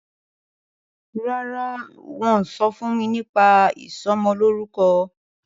ràrá wón sọfún mí nípa ìsomo lórúko